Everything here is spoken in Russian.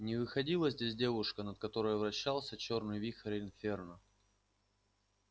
не выходила здесь девушка над которой вращался чёрный вихрь инферно